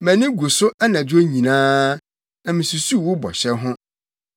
Mʼani gu so anadwo nyinaa, na misusuw wo bɔhyɛ ho.